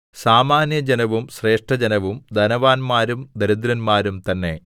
സാമാന്യജനവും ശ്രേഷ്ഠജനവും ധനവാന്മാരും ദരിദ്രന്മാരും തന്നെ